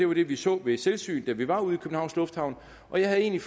vi så ved selvsyn eller vi var ude i københavns lufthavn og jeg havde egentlig